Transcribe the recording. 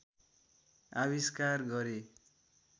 आविष्कार गरे